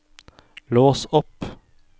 lås opp